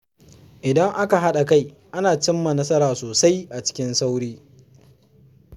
Idan aka haɗa kai, ana cimma nasara sosai a cikin sauri.